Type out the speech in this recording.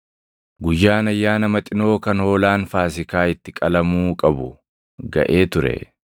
Guyyaan Ayyaana Maxinoo kan hoolaan Faasiikaa itti qalamuu qabu gaʼee ture.